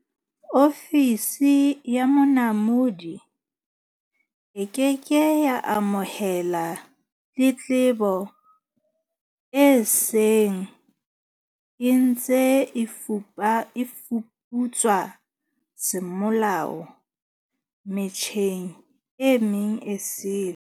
Ofisi ya Monamodi e ke ke ya amohela tletlebo e seng e ntse e fuputswa semolao me tjheng e meng esele.